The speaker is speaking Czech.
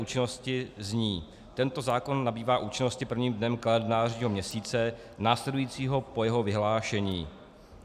Účinnost zní: Tento zákon nabývá účinnosti prvním dnem kalendářního měsíce následujícího po jeho vyhlášení.